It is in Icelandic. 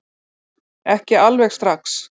Ekki alveg strax